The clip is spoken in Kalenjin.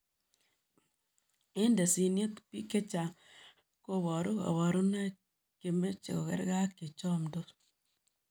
Eng tesiniet, piik chechang kobaruu kabarunoik chemechee kogargei ak chechomdos